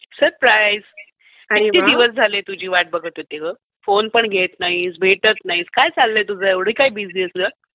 Surprise. किती दिवस झाले तुझी वाट बघत होते ग. फोन पण घेत नाहीस, भेटत नाहीस. काय चाललंय तुझं? एवढी काय बिझी आहेस ग?